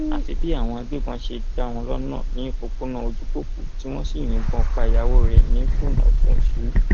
àfi bí àwọn agbébọn ṣe dá wọn lọnà ní òpópónà ojúkòkú tí wọn sì yìnbọn pa ìyàwó rẹ nífọnàfọńsù